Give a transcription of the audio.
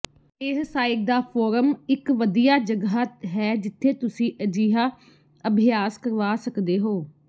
ਇਹ ਸਾਈਟ ਦਾ ਫੋਰਮ ਇੱਕ ਵਧੀਆ ਜਗ੍ਹਾ ਹੈ ਜਿੱਥੇ ਤੁਸੀਂ ਅਜਿਹਾ ਅਭਿਆਸ ਕਰਵਾ ਸਕਦੇ ਹੋ